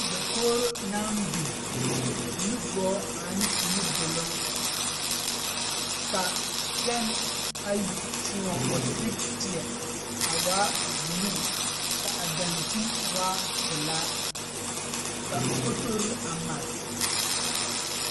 Dakogro naŋ biŋ nugɔɔ ane nudoɔloŋ ka pɛn ayi kyuɔɔ wasigw te teɛ a waa buluu ka a daŋkyine waa pilaa ka fotore a mare.